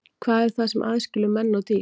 Hvað er það sem aðskilur menn og dýr?